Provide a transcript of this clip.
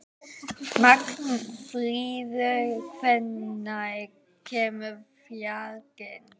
Magnfríður, hvenær kemur fjarkinn?